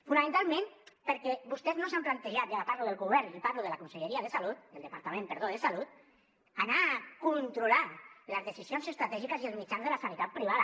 fonamentalment perquè vostès no s’han plantejat i ara parlo del govern i parlo del departament de salut anar a controlar les decisions estratègiques i els mitjans de la sanitat privada